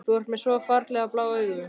Þú ert með svo ferlega blá augu.